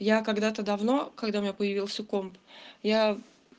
я когда-то давно когда у меня появился комп я